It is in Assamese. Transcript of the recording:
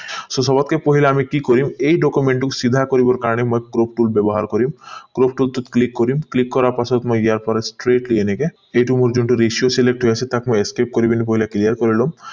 so ছবতকে পহিলাত আমি কি কৰিম এই document টোক চিধা কৰিবৰ কাৰণে মই crop tool ব্যৱহাৰ কৰিম crop tool টোত click কৰিম click কৰাৰ পাছত মই ইয়াৰ পৰা straightly এনেকে এইটো select আছে তাক মই clear কৰি লও